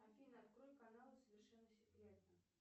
афина открой канал совершенно секретно